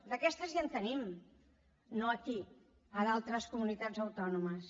d’aquestes ja en tenim no aquí a d’altres comunitats autònomes